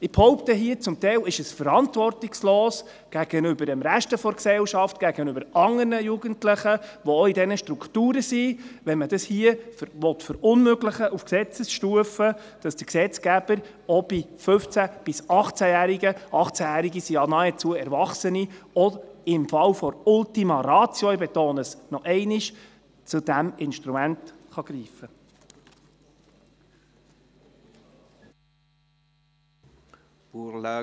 Ich behaupte hier, dass es zum Teil verantwortungslos gegenüber dem Rest der Gesellschaft ist, gegenüber anderen Jugendlichen, die auch in diesen Strukturen sind, wenn man hier auf Gesetzesstufe verunmöglichen will, dass der Gesetzgeber auch bei 15- bis 18-Jährigen – 18-Jährige sind ja nahezu Erwachsene – auch im Fall der Ultima Ratio – ich betone es noch einmal – zu diesem Instrument greifen kann.